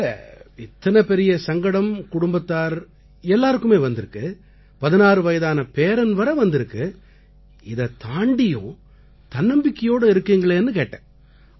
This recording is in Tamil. இல்லை இத்தனை பெரிய சங்கடம் குடும்பத்தார் எல்லாருக்குமே வந்திருக்கு 16 வயதான பேரன் வரை வந்திருக்கு இதைத் தாண்டியும் தன்னம்பிக்கையோடு இருக்கீங்களேன்னு கேட்டேன்